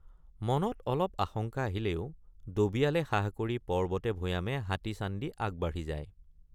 মনত অলপ আশঙ্কা আহিলেও ডবিয়ালে সাহ কৰি পৰ্বতেভৈয়ামে হাতী চান্দি আগবাঢ়ি যায়।